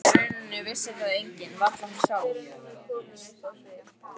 Í rauninni vissi það enginn, varla hún sjálf.